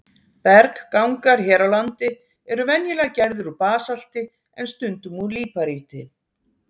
Berggangar hér á landi eru venjulega gerðir úr basalti en stundum úr líparíti.